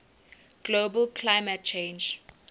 global climate change